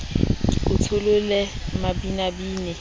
ke o tsholele mabinabine a